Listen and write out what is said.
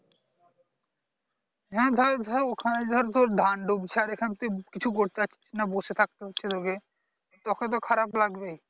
হ্যাঁ . ওখানে ধর তোর ধান ডুবছে আর এখানে তুই কিছু করতে পারছিস না বসে থাকতে হচ্ছে তোকে তোকে তো খারাপ লাগবেই